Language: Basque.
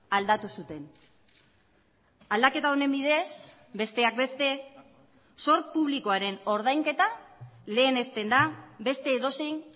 aldatu zuten aldaketa honen bidez besteak beste zor publikoaren ordainketa lehenesten da beste edozein